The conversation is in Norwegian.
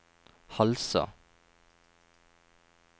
Halsa